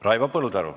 Raivo Põldaru.